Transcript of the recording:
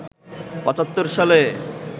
৭৫ সালে